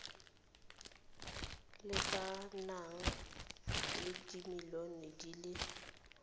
lekanang le dimilione di le